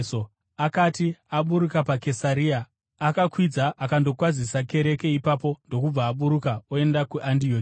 Akati aburuka paKesaria, akakwidza akandokwazisa kereke ipapo ndokubva aburuka oenda kuAndioki.